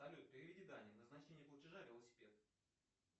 салют переведи дане назначение платежа велосипед